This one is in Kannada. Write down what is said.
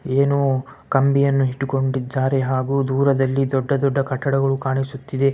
ಏನೋ ಕಂಬಿಯನ್ನು ಹಿಡಕೊಂಡಿದ್ದಾರೆ ಹಾಗು ದೂರದಲ್ಲಿ ದೊಡ್ಡದೊಡ್ಡ ಕಟ್ಟಡಗಳು ಕಾಣಿಸುತ್ತಿದೆ.